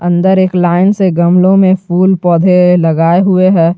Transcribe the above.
अंदर एक लाइन से गमलों में फूल पौधे लगाए हुए हैं।